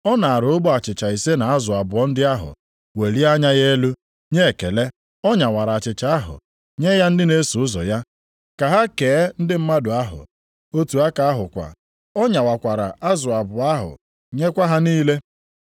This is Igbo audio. Ọ naara ogbe achịcha ise na azụ abụọ ndị ahụ, welie anya ya elu, nye ekele. Ọ nyawara achịcha ahụ nye ya ndị na-eso ụzọ ya ka ha kee ndị mmadụ ahụ. Otu aka ahụkwa ọ nyawakwara azụ abụọ ahụ nyekwa ha niile.